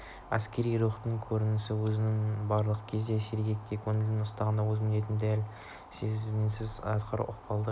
әскери рухтың көрінісі өзін барлық кезде сергек те көңілді ұстаудан өз міндетін дәл мінсіз атқарудан ұқыптылық